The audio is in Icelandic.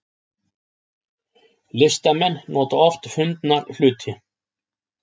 Listamenn nota oft fundna hluti